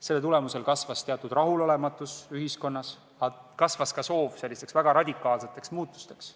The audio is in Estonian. Selle tagajärjel kasvas rahulolematus ühiskonnas, aga kasvas ka soov väga radikaalseteks muudatusteks.